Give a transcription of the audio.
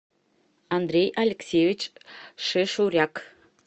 андрей алексеевич шешуряк